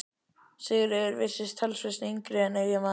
Sigríður virtist talsvert yngri en eiginmaðurinn.